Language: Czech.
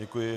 Děkuji.